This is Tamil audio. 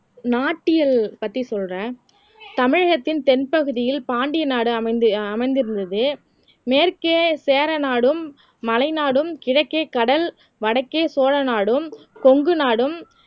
நாட்டியல் பத்தி சொல்றேன் தமிழகத்தின் தென்பகுதியில் பாண்டிய நாடு அமைந்து அமைந்திருந்தது மேற்கே சேர நாடும் மலை நாடும் கிழக்கே கடல் வடக்கே சோழ நாடும் கொங்கு நாடும்